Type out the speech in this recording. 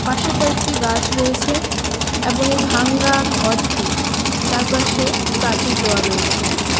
পাশে কয়েকটি গাছ রয়েছে এবং এই ভাঙ্গা ঘরটি চারপাশে প্রাচীর দেওয়া রয়েছে।